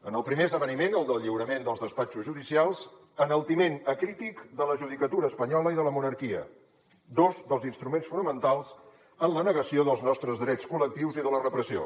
en el primer esdeveniment el del lliurament dels despatxos judicials enaltiment acrític de la judicatura espanyola i de la monarquia dos dels instruments fonamentals en la negació dels nostres drets col·lectius i de la repressió